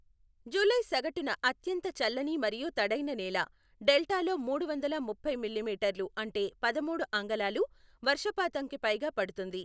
July సగటున అత్యంత చల్లని మరియు తడైన నెల. డెల్టాలో మూడు వందల ముప్పై మిల్లిమీటర్లు అంటే పదమూడు అంగుళాలు వర్షపాతంకి పైగా పడుతుంది.